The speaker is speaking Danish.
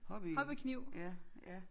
Hobby ja ja